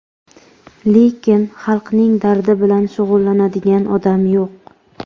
lekin xalqning dardi bilan shug‘ullanadigan odam yo‘q.